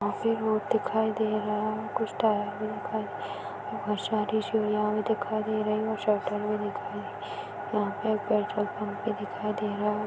जहां पे चबूतरा टाइप का दिखाई दे रहा हैइस में पटटहेर लगे हुवे हैं इस में एक मूर्ति भी दिखाई दे रही है खंबा दिखाई दे रहा है।